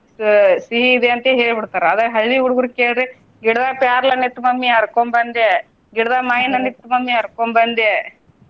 ಸಿಹಿ ಇದೆ ಅಂತ ಹೇಳಿ ಬಿಡ್ತಾರ ಅದ ಹಳ್ಳಿ ಹುಡುಗ್ರುಗ್ ಕೇಳ್ರಿ ಗಿಡದಾಗ ಪ್ಯಾರ್ಲ ಹಣ್ಣ ಇತ್ತ್ mummy ಹರ್ಕೊಂದ್ ಬಂದೆ, ಗಿಡದಾಗ ಮಾಯಿನ ಹಣ್ಣ ಇತ್ತ್ mummy ಹರ್ಕೊಂದ್ ಬಂದೆ.